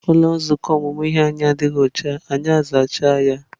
Ụlọ nzukọ ọmụmụ ihe anyị adịghị ọcha, anyị azacha ya.